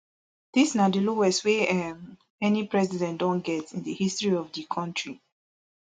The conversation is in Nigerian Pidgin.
dis na di lowest wey um any president don get in di history of di kontri